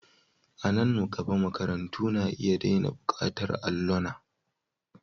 A nan gaba, makarantu na iya daina buƙatar allona.